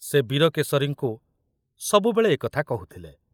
ସେ ବୀରକେଶରୀଙ୍କୁ ସବୁବେଳେ ଏ କଥା କହୁଥିଲେ।